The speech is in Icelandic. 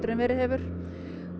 en verið hefur